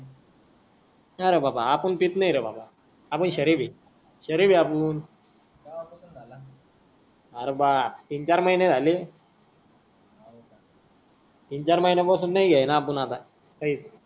नई रे बाबा आपण पीत नाहीरे बाबा आपण हा केव्हपासून झाला अरे तीन चार महिने झाले तीन चार महिने पासून नई